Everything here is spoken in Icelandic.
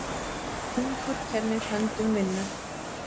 Hungur kennir höndum vinnu.